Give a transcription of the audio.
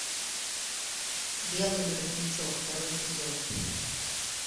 белый воротничок второй эпизод